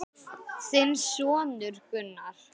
Þinn sonur, Gunnar.